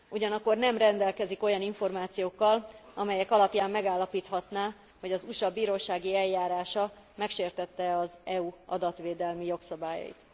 Ugyanakkor nem rendelkezik olyan információkkal, amelyek alapján megállapíthatná, hogy az USA bírósági eljárása megsértette e az EU adatvédelmi jogszabályait.